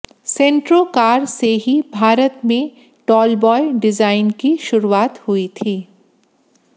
सेंट्रो car से ही भारत में टॉलबॉय डिजाइन की शुरुआत हुई थी